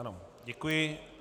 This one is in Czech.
Ano, děkuji.